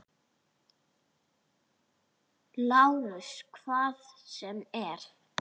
LÁRUS: Hvað sem er.